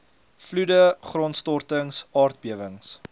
vloede grondstortings aardbewings